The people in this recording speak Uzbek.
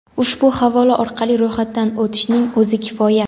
ushbu havola orqali ro‘yxatdan o‘tishning o‘zi kifoya.